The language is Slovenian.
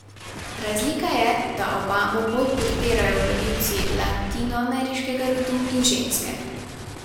Razlika je, da Obamo bolj podpirajo volivci latinoameriškega rodu in ženske.